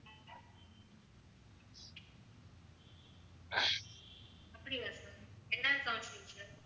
அப்படியா sir என்ன counselling sir